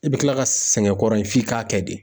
I bɛ kila ka sɛgɛn kɔrɔ in f'i k'a kɛ de.